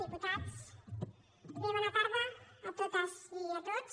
diputats bé bona tarda a totes i a tots